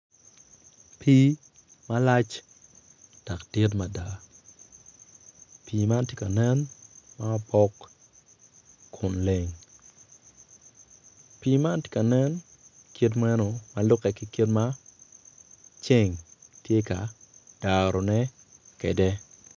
Pii malac dok dit mada pi man tye ka nen ma opok kun leng pi man tye ka nen kit meno ma lube ki kit ma ceng tye ka darone kede.